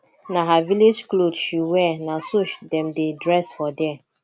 na her village cloth she wear na so dem dey dress for there